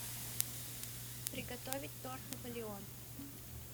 приготовить торт наполеон